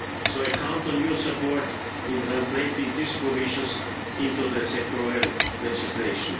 So I count on your support in translating these provisions into the sectorial legislation.